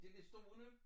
Det det store nu?